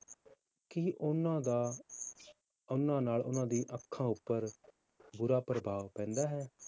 ਕੀ ਉਹਨਾਂ ਦਾ ਉਹਨਾਂ ਨਾਲ ਉਹਨਾਂ ਦੀ ਅੱਖਾਂ ਉੱਪਰ ਬੁਰਾ ਪ੍ਰਭਾਵ ਪੈਂਦਾ ਹੈ?